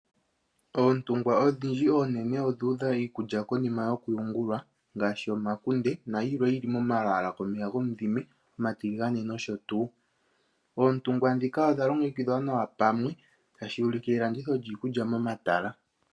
Oontungwa odhindji oonene odhuudha iikulya konima yokuyungulwa ngaashi omakunde nayilwe yili momalwaala gomeya gomudhime omatiligane nosho tuu. Oontungwa dhika odha longekidhwa nawa pamwe tashi ulike elanditho lyiikulya momatala.